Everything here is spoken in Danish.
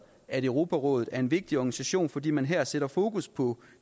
at europarådet er en vigtig organisation fordi man her sætter fokus på